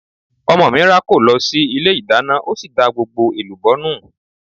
Ọmọ mi rákò lọ sí ilé ìdáná ó sì da gbogbo èlùbọ́ nù.